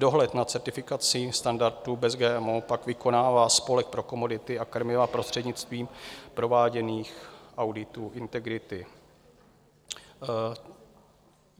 Dohled nad certifikací standardu Bez GMO pak vykonává Spolek pro komodity a krmiva prostřednictvím prováděných auditů integrity.